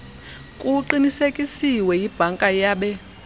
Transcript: kuqinisekisiwe yibhanka yabe